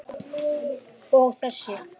Og þessi?